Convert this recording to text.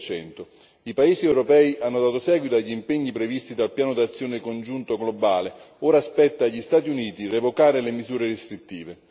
26 I paesi europei hanno dato seguito agli impegni previsti dal piano d'azione congiunto globale, ora spetta agli Stati Uniti revocare le misure restrittive.